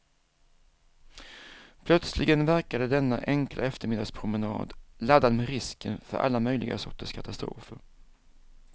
Plötsligen verkade denna enkla eftermiddagspromenad laddad med risken för alla möjliga sorters katastrofer.